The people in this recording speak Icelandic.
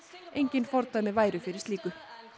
engin fordæmi væru fyrir slíku